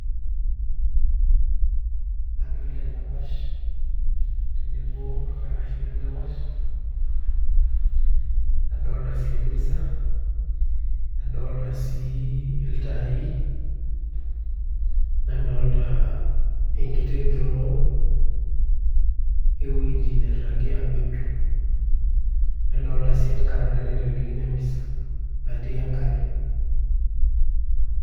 adolita endapash tenebo orkarash lendapash, adolita sii emisa, adolita sii iltai nadolita enkiti draw ewueji nirragi aa bedroom, nadolita sii enkararai naitelekino emisa natii enkare.